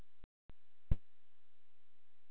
Meðalið var öðru vísi en aðrar mixtúrur.